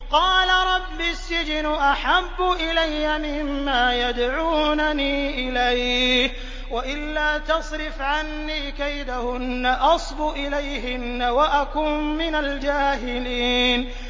قَالَ رَبِّ السِّجْنُ أَحَبُّ إِلَيَّ مِمَّا يَدْعُونَنِي إِلَيْهِ ۖ وَإِلَّا تَصْرِفْ عَنِّي كَيْدَهُنَّ أَصْبُ إِلَيْهِنَّ وَأَكُن مِّنَ الْجَاهِلِينَ